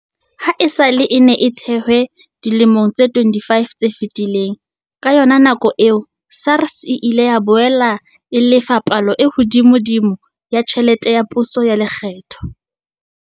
Ha esale e ne e thehwe dilemong tse 25 tse fetileng, ka yona nako eo, SARS e ile ya boela e lefa palo e hodimodimo ya tjhelete ya pusetso ya lekgetho.